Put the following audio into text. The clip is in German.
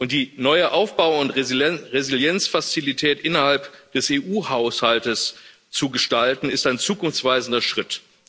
Die neue Aufbau und Resilienzfazilität innerhalb des EU-Haushalts zu gestalten, ist ein zukunftsweisender Schritt.